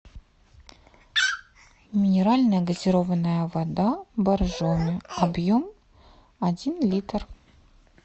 минеральная газированная вода боржоми объем один литр